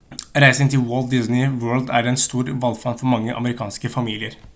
reising til walt disney world er en stor valfart for mange amerikanske familier